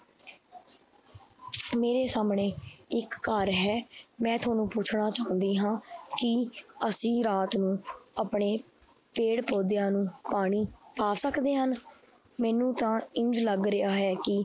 ਮੇਰੇ ਸਾਹਮਣੇ ਇੱਕ ਘਰ ਹੈ ਮੈਂ ਤੁਹਾਨੂੰ ਪੁੱਛਣਾ ਚਾਹੁੰਦੀ ਹਾਂ ਕਿ ਅਸੀਂ ਰਾਤ ਨੂੰ ਆਪਣੇ ਪੇੜ੍ਹ ਪੋਦਿਆਂ ਨੂੰ ਪਾਣੀ ਪਾ ਸਕਦੇ ਹਨ, ਮੈਨੂੰ ਤਾਂ ਇੰਞ ਲੱਗ ਰਿਹਾ ਹੈ ਕਿ